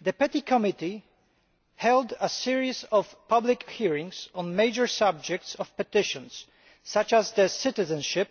The PETI Committee held a series of public hearings on major subjects of petitions, such as citizenship